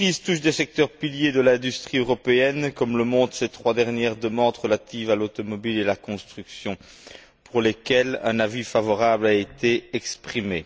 Cette crise touche des secteurs piliers de l'industrie européenne, comme le montrent ces trois dernières demandes relatives à l'automobile et à la construction, pour lesquelles un avis favorable a été exprimé.